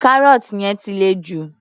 Carrot yẹn ti le jù.